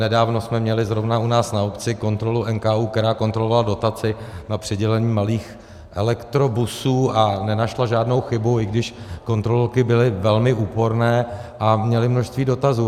Nedávno jsme měli zrovna u nás na obci kontrolu NKÚ, která kontrolovala dotaci na přidělení malých elektrobusů, a nenašla žádnou chybu, i když kontrolorky byly velmi úporné a měly množství dotazů.